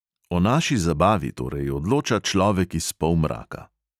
O naši zabavi torej odloča človek iz polmraka.